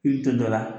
I bɛ to dɔ la